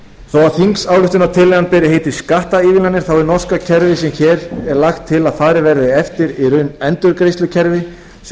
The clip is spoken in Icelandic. að þingsályktunartillagan beri heitið skattaívilnanir þá er norska kerfið sem hér er lagt til að farið verði eftir í raun endurgreiðslukerfi sem